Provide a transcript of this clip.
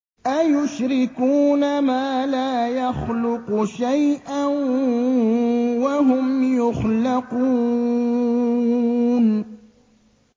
أَيُشْرِكُونَ مَا لَا يَخْلُقُ شَيْئًا وَهُمْ يُخْلَقُونَ